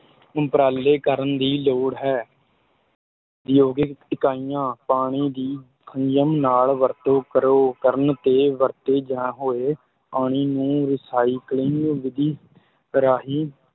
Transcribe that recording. ਉੱਪਰਾਲੇ ਕਰਨ ਦੀ ਲੋੜ ਹੈ ਉਦਯੋਗਿਕ ਇਕਾਈਆਂ, ਪਾਣੀ ਦੀ ਸੰਜਮ ਨਾਲ ਵਰਤੋਂ ਕਰੋ, ਕਰਨ ਤੇ ਵਰਤੇ ਜਾਂ ਹੋਏ ਪਾਣੀ ਨੂੰ recycling ਵਿਧੀ ਰਾਹੀਂ